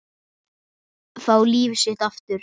Fá líf sitt aftur.